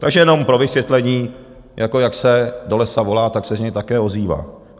Takže jenom pro vysvětlení jako, jak se do lesa volá, tak se z něj také ozývá.